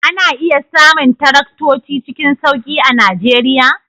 Ana iya samun taraktoci cikin sauki a Najeriya?